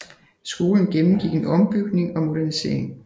Skolen gennemgik en ombygning og modernisering